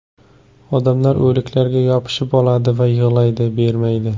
Odamlar o‘liklarga yopishib oladi, yig‘laydi, bermaydi.